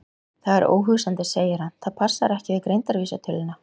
Það er óhugsandi, segir hann, það passar ekki við greindarvísitöluna.